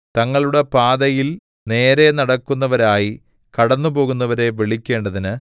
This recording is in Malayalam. തങ്ങളുടെ പാതയിൽ നേരെ നടക്കുന്നവരായി കടന്നുപോകുന്നവരെ വിളിക്കേണ്ടതിന്